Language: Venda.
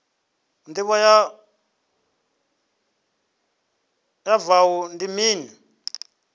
ndivho ya wua ndi mini